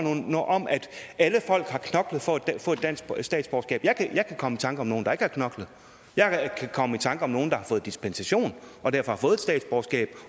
noget om at alle folk har knoklet for at få et dansk statsborgerskab jeg kan komme i tanker om nogle der ikke har knoklet jeg kan komme i tanker om nogle der har fået dispensation og derfor har fået et statsborgerskab